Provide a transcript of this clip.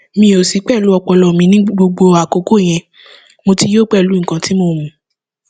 mi ò sí pẹlú ọpọlọ mi ní gbogbo àkókò yẹn mo ti yọ pẹlú nǹkan tí mo mú